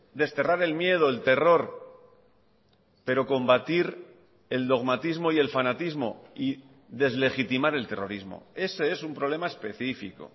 desterrar el miedo el terror pero combatir el dogmatismo y el fanatismo y deslegitimar el terrorismo ese es un problema específico